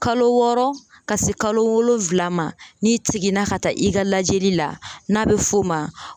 Kalo wɔɔrɔ ka se kalo wolonwula ma n'i seginna ka taa i ka lajɛli la n'a bɛ f'o maɲ